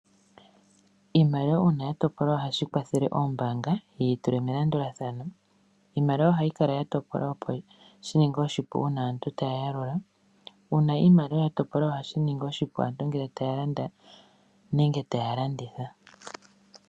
Iimaliwa uuna ya topolwa ohashi kwathele oombanga yi yi tule melandulathano. Iimaliwa ohayi kala ya topolwa opo shi ninge oshipu uuna aantu taya yalula. Uuna iimaliwa ya topolwa ohashi ningi oshipu aant ngele taya landa nenge taya landitha.